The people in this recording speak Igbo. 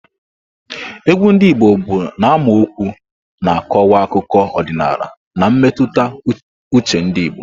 Egwu ndị Igbo bụ n'amaokwu na-akọwa akụkọ ọdịnala na mmetụta uche ndị Igbo.